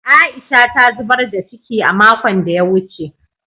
Aisha ta zubar da ciki a makon da ya wuce